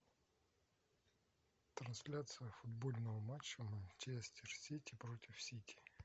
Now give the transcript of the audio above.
трансляция футбольного матча манчестер сити против сити